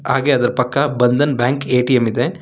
ಹಾಗೆ ಅದರ ಪಕ್ಕ ಬಂಧನ್ ಬ್ಯಾಂಕ್ ಎ_ಟಿ_ಎಂ ಇದೆ.